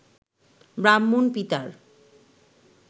ব্রাহ্মণ পিতার